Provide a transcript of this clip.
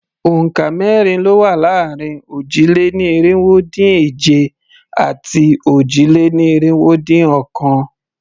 Òǹkà mẹ́rin ló wà láàrin òjì-lé-ní-irinwó-dín-èje àti òjì-lé-ní-irinwó-dín-ọ̀kan.